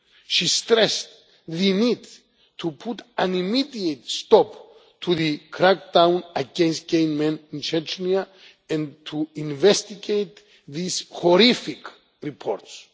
She stressed the need to put an immediate stop to the crackdown against gay men in Chechnya and to investigate these horrific reports.